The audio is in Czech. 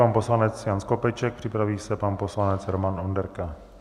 Pan poslanec Jan Skopeček, připraví se pan poslanec Roman Onderka.